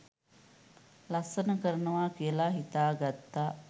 ලස්සන කරනවා කියලා හිතා ගත්තා.